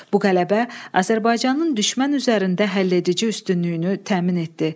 Bu qələbə Azərbaycanın düşmən üzərində həll edici üstünlüyünü təmin etdi.